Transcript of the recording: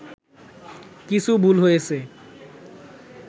কিছু ভুল হয়েছে